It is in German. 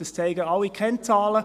Das zeigen alle Kennzahlen.